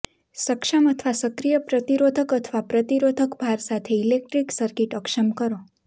સક્ષમ અથવા સક્રિય પ્રતિરોધક અથવા પ્રતિરોધક ભાર સાથે ઇલેક્ટ્રિક સર્કિટ અક્ષમ કરો